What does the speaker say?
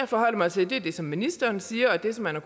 forholder mig til er det som ministeren siger og det som man har